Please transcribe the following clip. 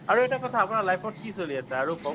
আৰু এটা কথা , আপোনাৰ life ত কি চলি আছে ? আৰু কওঁক